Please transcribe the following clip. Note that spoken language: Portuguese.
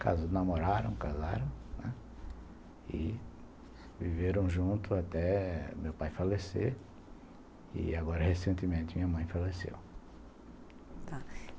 casaram, namoraram, casaram e viveram junto até meu pai falecer e agora recentemente minha mãe faleceu.